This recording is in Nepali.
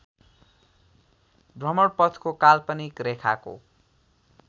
भ्रमणपथको काल्पनिक रेखाको